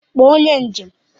Kpọọ onye njem!